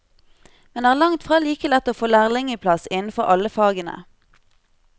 Men det er langtfra like lett å få lærlingeplass innenfor alle fagene.